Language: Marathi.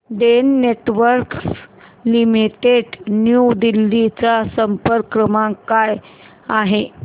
Den Networks Limited New Delhi चा संपर्क क्रमांक काय आहे